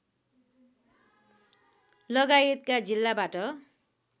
लगायतका जिल्लाबाट